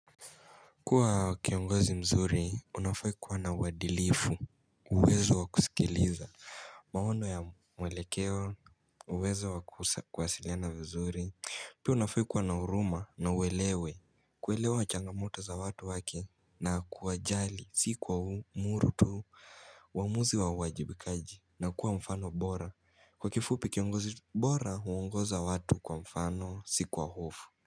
Kuwa kiongozi mzuri unafaa kuwa na uadilifu uwezo wa kusikiliza maono ya mwelekeo uwezo wa kuwasiliana vizuri Pia unafaa kuwa na huruma na uelewe kuelewa changamoto za watu wake na kuwajali si kuamuru tu uamuzi wa uwajibikaji na kuwa mfano bora kwa kifupi kiongozi bora huongoza watu kwa mfano si kwa hofu.